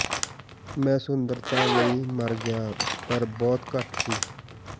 ਮੈਂ ਸੁੰਦਰਤਾ ਲਈ ਮਰ ਗਿਆ ਪਰ ਬਹੁਤ ਘੱਟ ਸੀ